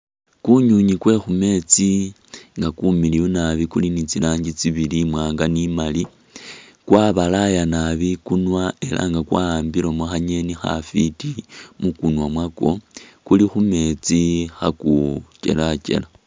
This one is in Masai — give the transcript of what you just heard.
Ku nywinywi kwe khumetsi nga kumiliyu naabi kuli ni tsi rangi tsi bili i wanga ni i mali, kwabalaya naabi ikunwa era nga kwa ambilemo khanyeni khafiti mu kunwa mwako, kuli khu metsi kha kukyelakyela.